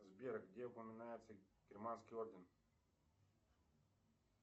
сбер где упоминается германский орден